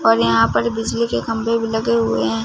और यहां पर बिजली के खंभे भी लगे हुएं हैं।